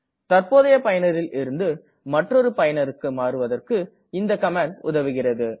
தற்போதைய பயனரில் இருந்து மற்றொரு பயனருக்கு மாறுவதற்கு இந்த கமாண்ட் உதவுகிறது